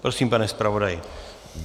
Prosím, pane zpravodaji.